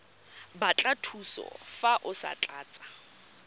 batla thuso fa o tlatsa